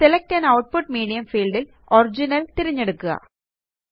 select an output medium field ല് original തിരഞ്ഞെടുക്കുക